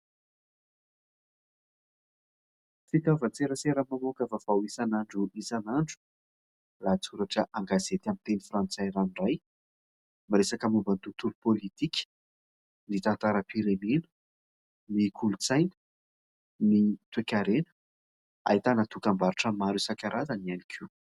Fitaovan-tserasera mamoaka vaovao isanandro isanandro. Lahatsoratra an-gazety amin'ny teny frantsay ranoray. Miresaka momban'ny tontolo politika, ny tantaram-pirenena, ny kolontsaina, ny toekarena ; ahitana dokam-barotra maro isankarazany ihany koa.